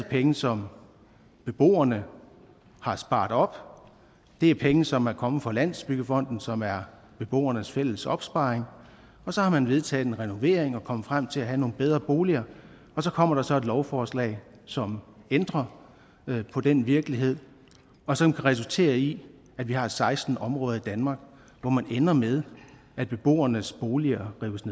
penge som beboerne har sparet op det er penge som er kommet fra landsbyggefonden som er beboernes fælles opsparing og så har man vedtaget en renovering og er kommet frem til at have nogle bedre boliger og så kommer der så et lovforslag som ændrer på den virkelighed og som kan resultere i at vi har seksten områder i danmark hvor man ender med at beboernes boliger rives